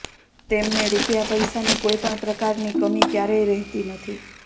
તેમને રૂપિયા પૈસા ની કોઇપણ પ્રકાર ની કમી ક્યારેય રહતી નથી